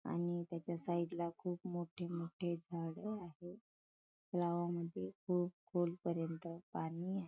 आणि त्याच्या साइड ला खूप मोठी मोठी झाड आहे तलावामध्ये खूप खोल पर्यन्त पाणी आहे.